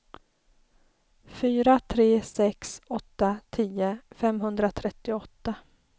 fyra tre sex åtta tio femhundratrettioåtta